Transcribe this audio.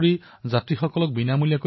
এনে অনেক কাহিনী জনসাধাৰণে বিনিময় কৰিছে